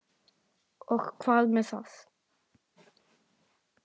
Og hvað með það!